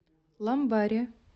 ламбаре